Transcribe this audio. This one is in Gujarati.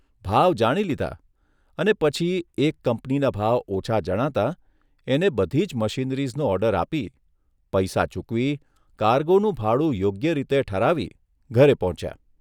ભાવ જાણી લીધા અને પછી એક કંપનીના ભાવ ઓછા જણાતા એને બધી જ મશીનરીઝનો ઓર્ડર આપી, પૈસા ચૂકવી, કારગોનું ભાડું યોગ્ય રીતે ઠરાવી ઘરે પહોંચ્યા.